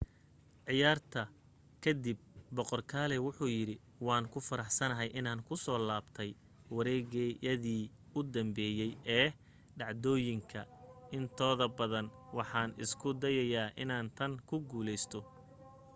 ciyaarta ka dib boqor kalaay wuxu yidhi waan ku faraxsanahay inaan ku soo laabtay wareegyadii u dambeeyay ee dhacdooyinka intooda badan. waxaan isku dayayaa inaan tan ku guuleysto.